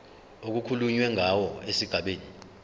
okukhulunywe ngawo esigabeni